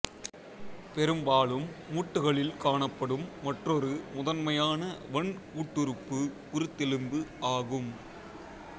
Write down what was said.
பெரும்பாலும் மூட்டுகளில் காணப்படும் மற்றொரு முதன்மையான வன்கூட்டுறுப்பு குருத்தெலும்பு ஆகும்